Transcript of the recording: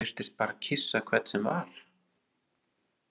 Hún virtist bara kyssa hvern sem var.